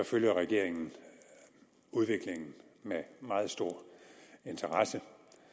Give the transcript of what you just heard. følger regeringen udviklingen med meget stor interesse